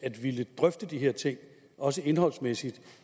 at ville drøfte de her ting også indholdsmæssigt